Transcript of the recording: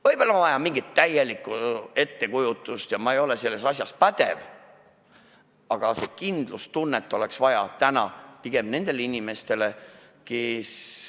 Võib-olla on vaja täielikku ettekujutust asjast ja ma ei ole selles pädev, aga kindlustunnet oleks vaja pigem nendele inimestele.